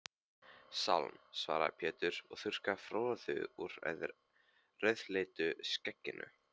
Sálm, svaraði Pétur og þurrkaði froðu úr rauðleitu skegginu.